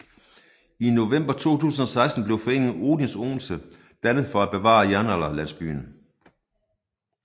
I november 2016 blev foreningen Odins Odense dannet for at bevare Jernalderlandsbyen